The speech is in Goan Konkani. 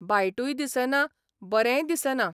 वायटूय दिसना, बरेंय दिसना.